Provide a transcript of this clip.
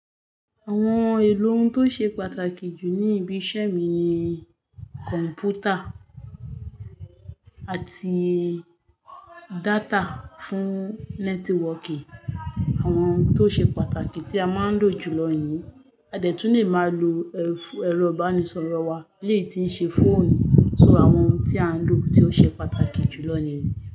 Àwọn èlò n tó ṣe pàtàkì jù ní ibi iṣẹ́ mi ni kọ̀m̀pútà àti data fún networking. Àwọn tó ṣe pàtàkì tí a máa ń lò jùlọ nìyí. A dẹ̀ tún lè máa lo ẹ̀rọ ìbánisọ̀rọ̀ wa eleyii tí ń ṣe phone. So àwọn ohun tí à ń lò tí ó ṣe pàtàkì jùlọ nìyí.